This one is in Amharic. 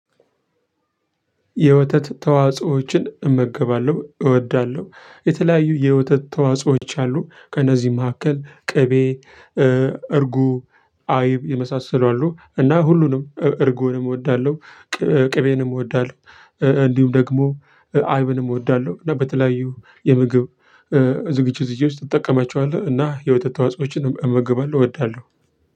የወተት ተዋጽኦዎችን እመገባለሁ እወዳለሁ የተለያዩ የወተት ተዋጽኦዎች አሉ ከነዚህ መካከል ቅቤ እርጎ አይብ የመሳሰሉ አሉ እና ሁሉንም እርጎንም እወዳለሁ። ቅቤንም እወዳለሁ። እንዲሁም ደግሞ አይብንም እወዳለሁ እና በተለያዩ የምግብ ዝግጅት ውስጥ እጠቀማቸዋለህ። እና የወተት ተዋጽኦዎችንም እመግባለሁ እወዳለሁ።